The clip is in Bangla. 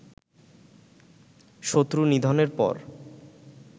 শত্রু নিধনের পর